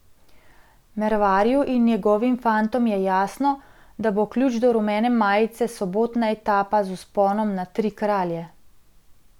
Mervarju in njegovim fantom je jasno, da bo ključ do rumene majice sobotna etapa z vzponom na Tri kralje.